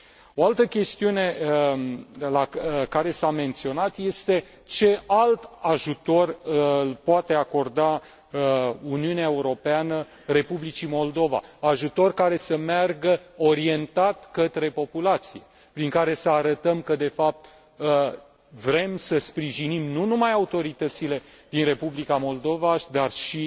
O altă chestiune care s a menționat este ce alt ajutor poate acorda Uniunea Europeană Republicii Moldova, ajutor care să meargă orientat către populație, prin care să arătăm că, de fapt, vrem să sprijinim nu numai autoritățile din Republica Moldova, dar și